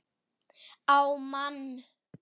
Á mann.